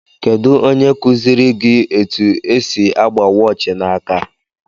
Kedụ ónyé kuziri gị etu esị agba waachi na áká.